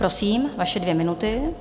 Prosím, vaše dvě minuty.